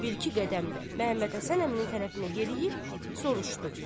Sonra bir-iki qədəmdə Məmmədhəsən əminin tərəfinə yeriyib soruşdu: